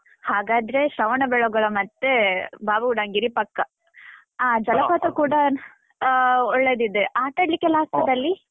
ಹಾಗಾದ್ರೆ, ಶ್ರವಣಬೆಳಗೊಳ ಮತ್ತೆ ಬಾಬಾಬುಡನ್ಗಿರಿ ಪಕ್ಕಾ. ಆ ಕೂಡ ಆ ಒಳ್ಳೆದಿದೆ. ಆಟ ಆಡ್ಲಿಕ್ಕೆಲ್ಲ ಆಗ್ತದಲ್ಲಿ?